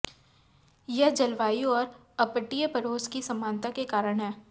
यह जलवायु और अपतटीय पड़ोस की समानता के कारण है